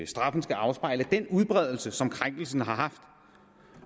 straffen skal afspejle den udbredelse som krænkelsen har haft